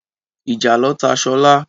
Ìjàlọ ta Sola.